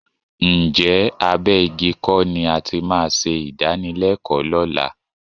Ǹjẹ́ abẹ́ igi kọ́ ni a ti máa ṣe ìdánilẹ́kọ̀ọ́ lọ́la?